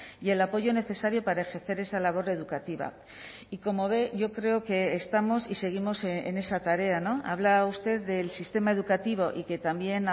y el apoyo necesario para ejercer esa labor educativa y como ve yo creo que estamos y seguimos en esa tarea habla usted del sistema educativo y que también